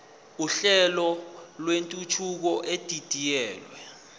uhlelo lwentuthuko edidiyelwe